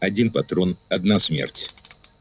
один патрон одна смерть